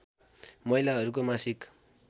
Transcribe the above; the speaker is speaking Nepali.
महिलाहरूको मासिक